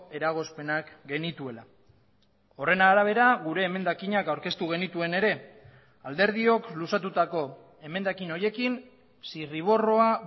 eragozpenak genituela horren arabera gure emendakinak aurkeztu genituen ere alderdiok luzatutako emendakin horiekin zirriborroa